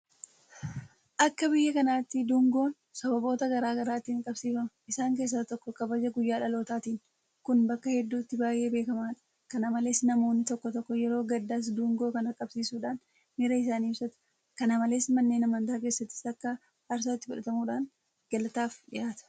Akka biyya kanaatti dungoon sababoota garaa garaatiin qabsiifama. Isaan keessaa tokko kabaja guyyaa dhalootaatiini. Kun bakka hedduutti baay'ee beekamaadha. Kana malees namoonni tokko tokko yeroo gaddaas dungoo kana qabsiisuudhaan miira isaanii ibsatu. Kana malees manneen amantaa keessattis akka aarsaatti fudhatamuudhaan galataaf dhiyaata.